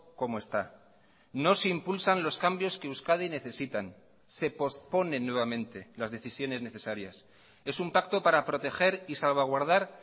como está no se impulsan los cambios que euskadi necesitan se posponen nuevamente las decisiones necesarias es un pacto para proteger y salvaguardar